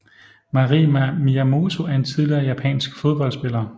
Mari Miyamoto er en tidligere japansk fodboldspiller